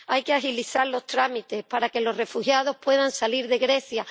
Hay que agilizar los trámites para que los refugiados puedan salir de Grecia.